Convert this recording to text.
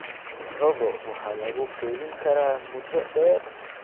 Mihogo waxaa lagu kaydin karaa muddo dheer.